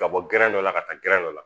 Ka bɔ gɛrɛn dɔ la ka taa gɛrɛn dɔ la